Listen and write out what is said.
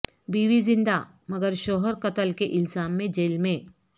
بیوی زندہ مگر شوہر قتل کے الزام میں جیل میں